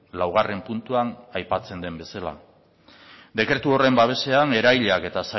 laugarren puntuan aipatzen den bezala dekretu horren babesean eragileak eta